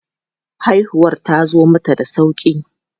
Haihuwar tazo mata da sauƙi.